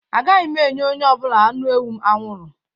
A gaghị m enye onye ọ bụla anụ ewu m anwụrụ